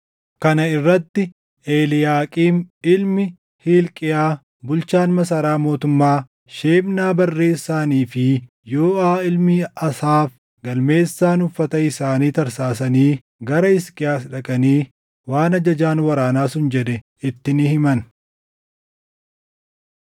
Kana irratti Eliiyaaqiim ilmi Hilqiyaa bulchaan masaraa mootummaa, Shebnaa barreessaanii fi Yooʼaa ilmi Asaaf galmeessaan uffata isaanii tatarsaasanii gara Hisqiyaas dhaqanii waan ajajaan waraanaa sun jedhe itti ni himan.